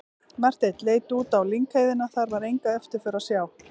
Marteinn leit út á lyngheiðina, þar var enga eftirför að sjá.